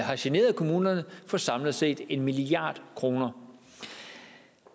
har generet kommunerne for samlet set en milliard kroner